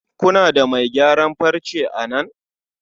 kuna da mai gyaran farce a nan?